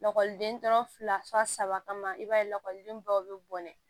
Lakɔliden tɔ fila saba kama i b'a ye lakɔlidenbaw bɛ bɔnɛ